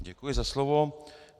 Děkuji za slovo.